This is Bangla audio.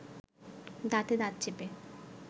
দাঁতে দাঁত চেপে